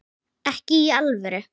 Ekki í alvöru.